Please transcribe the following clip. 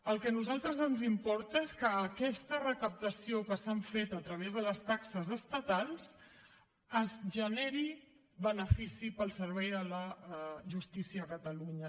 el que a nosaltres ens importa és que d’aquesta recaptació que s’ha fet a través de les taxes estatals es generi benefici per al servei de la justícia a catalunya